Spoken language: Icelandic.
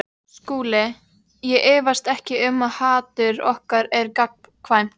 SKÚLI: Ég efast ekki um að hatur okkar er gagnkvæmt.